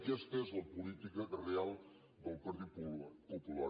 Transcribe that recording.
aquesta és la política real del partit popular